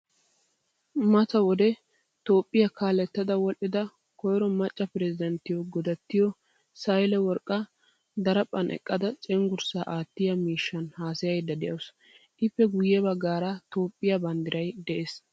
Mata wode toophphiyaa kaalettada wodhdhida koyro macca piresidanttiyo godattiyo sahile worqqa diriphphan eqqada cenggurssa aattiyaa miishshan haasayayida deawusu. Ippe guye baggaara toophphiyaa banddiray de'ees.